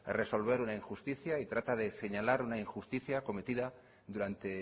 resolver una injusticia y trata de señalar una injusticia cometida durante